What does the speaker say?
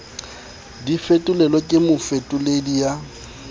di fetolelwe ke mofetoledi ya